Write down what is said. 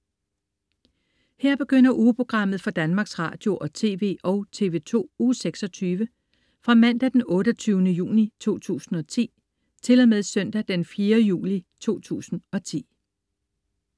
Her begynder ugeprogrammet for Danmarks Radio- og TV og TV2 Uge 26 Fra Mandag den 28. juni 2010 Til Søndag den 4. juli 2010